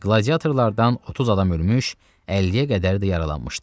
Qladiatorlardan 30 adam ölmüş, 50-yə qədər də yaralanmışdı.